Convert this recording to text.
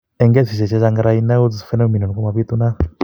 En kesiisyek chechaang Raynaud's phenomenon ko mabitunat